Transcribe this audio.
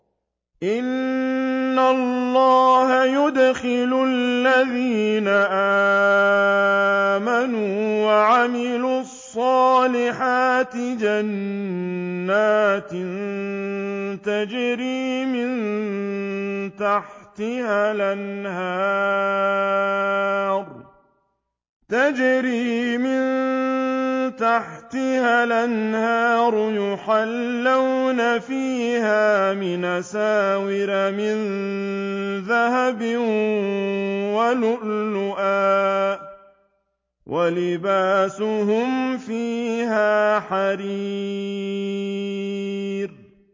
إِنَّ اللَّهَ يُدْخِلُ الَّذِينَ آمَنُوا وَعَمِلُوا الصَّالِحَاتِ جَنَّاتٍ تَجْرِي مِن تَحْتِهَا الْأَنْهَارُ يُحَلَّوْنَ فِيهَا مِنْ أَسَاوِرَ مِن ذَهَبٍ وَلُؤْلُؤًا ۖ وَلِبَاسُهُمْ فِيهَا حَرِيرٌ